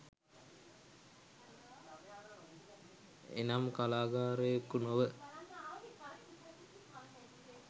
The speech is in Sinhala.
එනම් කලාකාරයකු නොව